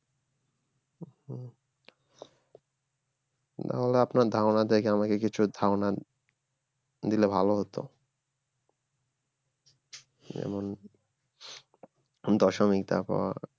তাহলে আপনার ধারণা থেকে আমাকে কিছু ধারনা দিলে ভালো হতো যেমন দশমিক তারপর